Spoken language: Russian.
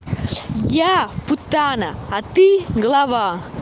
я путана а ты глава